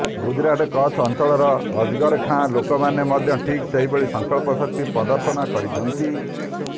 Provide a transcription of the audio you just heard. ଗୁଜରାଟ କଚ୍ଛ ଅଂଚଳର ଅଜରକ୍ ଗାଁର ଲୋକମାନେ ମଧ୍ୟ ଠିକ୍ ଏହିଭଳି ସଂକଳ୍ପ ଶକ୍ତି ପ୍ରଦର୍ଶନ କରିଛନ୍ତି